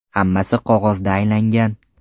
Hammasi qog‘ozda aylangan.